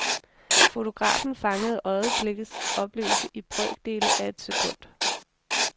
Fotografen fangede øjeblikkets oplevelse i brøkdele af et sekund.